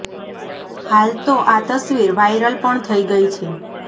હાલ તો આ તસ્વીર વાયરલ પણ થઇ ગઈ છે